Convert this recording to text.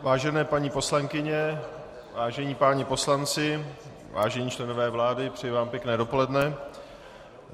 Vážené paní poslankyně, vážení páni poslanci, vážení členové vlády, přeji vám pěkné dopoledne.